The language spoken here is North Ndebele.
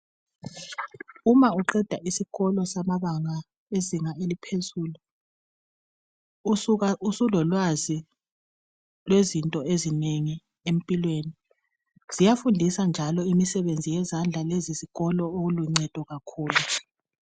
Uma uqeda isikolo samabanga lezinga eliphezulu usuka usulolwazi lwezinto ezinengi empilweni, ziyafundisa njalo imisebenzi yezandla lezi zikolo okuluncedo kakhulu.